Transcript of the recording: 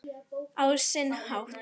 Á sinn hátt.